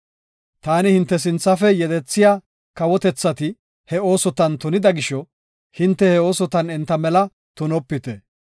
“Taani hinte sinthafe yedethiya kawotethati he oosotan tunida gisho, hinte he oosotan enta mela tunopite.